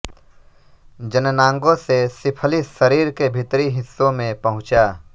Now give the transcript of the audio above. जननांगों से सिफलिस शरीर के भीतरी हिस्सों में पहुंचा